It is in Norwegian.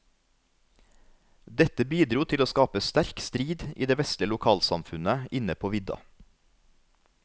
Dette bidro til å skape sterk strid i det vesle lokalsamfunnet inne på vidda.